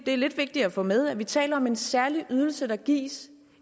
det er lidt vigtigt at få med vi taler om en særlig ydelse der gives